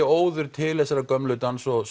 óður til þessara gömlu dans og